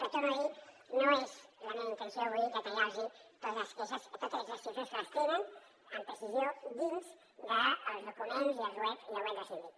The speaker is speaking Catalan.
però ho torno a dir no és la meva intenció avui detallar los totes les queixes totes aquestes xifres que les tenen amb precisió dins dels documents i el web del síndic